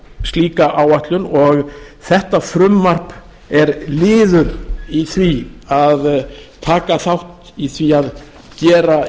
slíka áætlun og þetta frumvarp er liður í því að taka þátt í því að gera